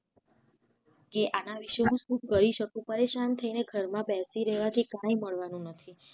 આના વિશે હું શું કરી શકું પરેશાન થઇ ને ઘર માં બેસી રેવા થી કાઈ મળવાનું નથી